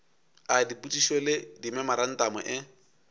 a dipotšišo le dimemorantamo e